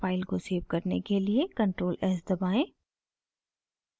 file को save करने के लिए ctrl+s दबाएं